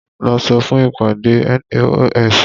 Lọ fún ìpàdé NAOS!